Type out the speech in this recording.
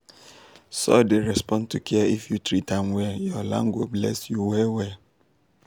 soil dey respond to care if you treat am well your land go bless you well well.